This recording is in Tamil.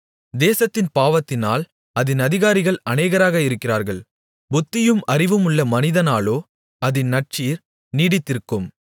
தேசத்தின் பாவத்தினால் அதின் அதிகாரிகள் அநேகராக இருக்கிறார்கள் புத்தியும் அறிவுமுள்ள மனிதனாலோ அதின் நற்சீர் நீடித்திருக்கும்